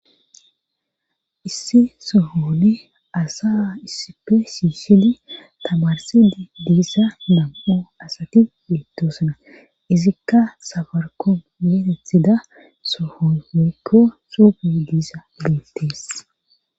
Issi sohono asa issipe shiishidi tamarisidi de'iza nam'u asati betosona izika safarikome giza sohon woyko xuufey beetes